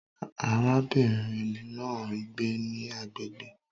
Arábìnrin náà ń gbé ní agbègbè